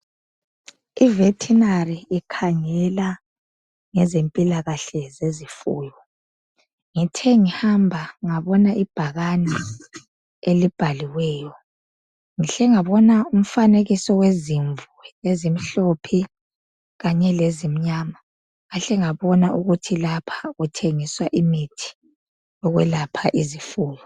I vetinary ikhangela ngezempilakahle zezifuyo ngithe ngihamba ngabona ibhakane elibhaliweyo ngihle ngabona umfanekiso wezimvu ezimhlophe kanye lezimnyama ngahle ngabona ukuthi lapha kuthengiswa imithi yokwelapha izifuyo.